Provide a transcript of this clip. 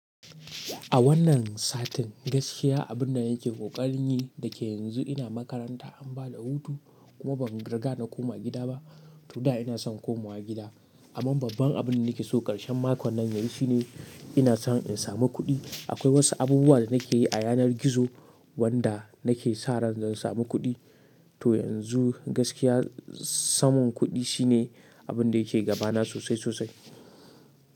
A wannan satin gaskiya abin da nake kokarin yi, da ke yanzu ina makaranta an ba da hutu kuma ban riga na koma gida ba, to da ina son komawa gida. Amma babban abin da nake so ƙarshen makon nan yayi shine ina so in samu kuɗi. Akwai wasu abubuwa da nake yi a yanar gizo wanda nake sa ran zan samu kuɗi. To yanzu gaskiya samun kuɗi shine abin da yake gabana sosai sosai.